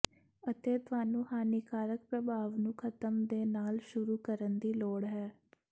ਅਤੇ ਤੁਹਾਨੂੰ ਹਾਨੀਕਾਰਕ ਪ੍ਰਭਾਵ ਨੂੰ ਖ਼ਤਮ ਦੇ ਨਾਲ ਸ਼ੁਰੂ ਕਰਨ ਦੀ ਲੋੜ ਹੈ